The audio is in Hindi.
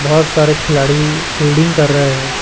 बहोत सारे खिलाड़ी फील्डिंग कर रहे है।